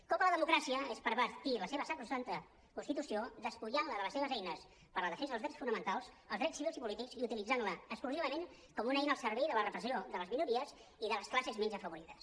cop a la democràcia és pervertir la seva sacrosanta constitució despullant la de les seves eines per la defensa dels drets fonamentals els drets civils i polítics i utilitzant la exclusivament com una eina al servei de la repressió de les minories i de les classes menys afavorides